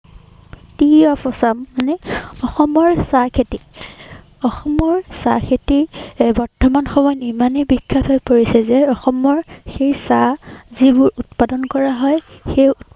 Tea of Assam মানে, অসমৰ চাহ খেতি। অসমৰ চাহ খেতি বৰ্তমান সময়ত ইমানেই বিখ্যাত হৈ পৰিছে যে, অসমৰৰ সেই চাহ যিবোৰ উৎপাদন কৰা হয়, সেই